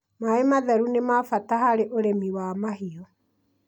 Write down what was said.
Maĩ matheru nĩ ma bata harĩ ũrĩmi wa mahiũ